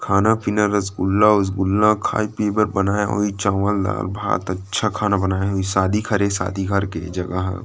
खाना पीना रसगुल्ला उसगुलला खाए पिए बर बनाए होही चावल दाल भात खाना बनाए होही शादी क हरे शादी घर के जगह ह।